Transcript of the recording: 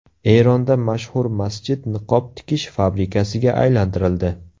Eronda mashhur masjid niqob tikish fabrikasiga aylantirildi .